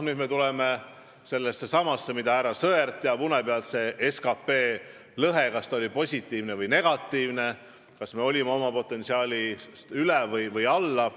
Noh, härra Sõerd teab une pealt, kas see SKP lõhe oli positiivne või negatiivne, kas me oma potentsiaali kasutasime ära või jäime sellele alla.